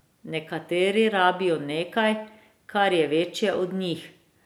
Nekateri rabijo nekaj, kar je večje od njih.